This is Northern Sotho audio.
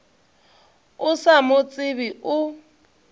o sa mo tsebe o